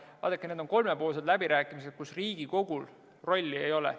Vaadake, need on kolmepoolsed läbirääkimised, kus Riigikogul rolli ei ole.